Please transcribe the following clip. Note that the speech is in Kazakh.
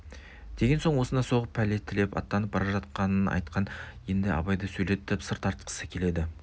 деген соң осында соғып пәле тілеп аттанып бара жатқанын айтқан енді абайды сөйлетіп сыр тартқысы келеді